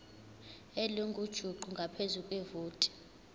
elingujuqu ngaphezu kwevoti